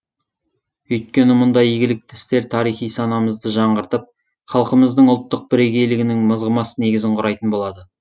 өйткені мұндай игілікті істер тарихи санамызды жаңғыртып халқымыздың ұлттық бірегейлігінің мызғымас негізін құрайтын болады